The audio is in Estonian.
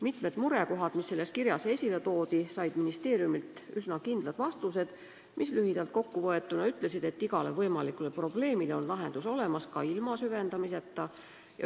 Mitmed murekohad, mis selles kirjas esile toodi, said ministeeriumilt üsna kindlad vastused, mis lühidalt kokku võetuna ütlesid, et igale võimalikule probleemile on lahendus olemas ka ilma süvendamiseta.